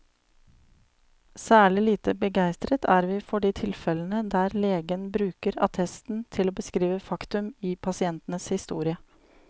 Særlig lite begeistret er vi for de tilfellene der legen bruker attesten til å beskrive faktum i pasientens historie.